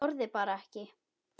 Þorði bara ekki.